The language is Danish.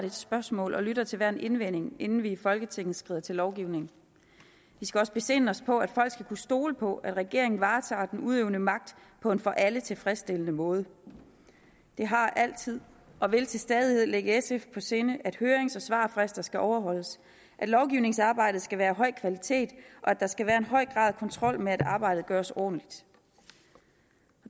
et spørgsmål og lytter til hver en indvending inden vi i folketinget skrider til lovgivning vi skal også besinde os på at folk skal kunne stole på at regeringen varetager den udøvende magt på en for alle tilfredsstillende måde det har altid og vil til stadighed ligge sf på sinde at hørings og svarfrister skal overholdes at lovgivningsarbejdet skal være af høj kvalitet og at der skal være en høj grad af kontrol med at arbejdet gøres ordentligt